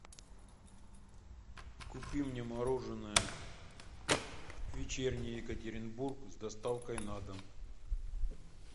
купи мне мороженое вечерний екатеринбург с доставкой на дом